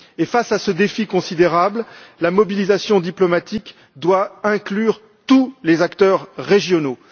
Face à ce défi considérable, la mobilisation diplomatique doit inclure tous les acteurs régionaux.